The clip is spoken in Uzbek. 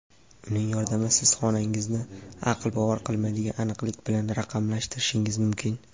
Uning yordamida siz xonangizni aql bovar qilmaydigan aniqlik bilan raqamlashtirishingiz mumkin.